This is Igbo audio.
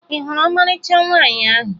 Ị hụrụ ọmarịcha nwaanyị ahụ?